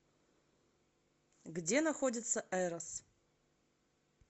где находится эрос